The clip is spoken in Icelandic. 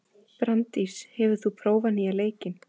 Branddís, hefur þú prófað nýja leikinn?